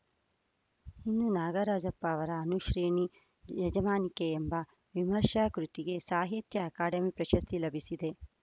ಇನ್ನು ನಾಗರಾಜಪ್ಪ ಅವರ ಅನುಶ್ರೇಣಿ ಯಜಮಾನಿಕೆ ಎಂಬ ವಿಮರ್ಶಾ ಕೃತಿಗೆ ಸಾಹಿತ್ಯ ಅಕಾಡೆಮಿ ಪ್ರಶಸ್ತಿ ಲಭಿಸಿದೆ